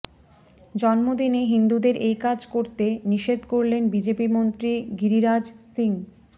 জন্মদিনে হিন্দুদের এই কাজ করতে নিষেধ করলেন বিজেপি মন্ত্রী গিরিরাজ সিং